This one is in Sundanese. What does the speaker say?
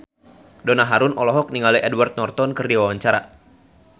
Donna Harun olohok ningali Edward Norton keur diwawancara